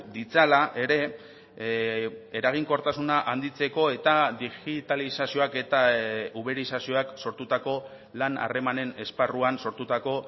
ditzala ere eraginkortasuna handitzeko eta digitalizazioak eta uberizazioak sortutako lan harremanen esparruan sortutako